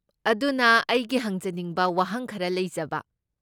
ꯑꯗꯨꯅ, ꯑꯩꯒꯤ ꯍꯪꯖꯅꯤꯡꯕ ꯋꯥꯍꯪ ꯈꯔ ꯂꯩꯖꯕ꯫